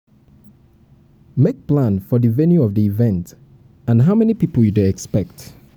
make plan for di venue of di event and how many pipo you dey expect